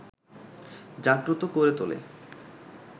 জাগ্রত করে তোলে